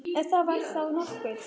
Ef það var þá nokkuð.